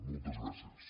moltes gràcies